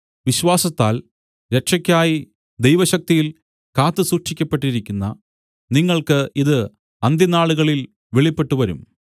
വിശ്വാസത്താൽ രക്ഷക്കായി ദൈവശക്തിയിൽ കാത്ത് സൂക്ഷിക്കപ്പെട്ടിരിക്കുന്ന നിങ്ങൾക്ക് ഇത് അന്ത്യനാളുകളിൽ വെളിപ്പെട്ട് വരും